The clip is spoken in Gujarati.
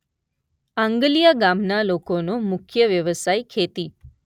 આંગલીયા ગામના લોકોનો મુખ્ય વ્યવસાય ખેતી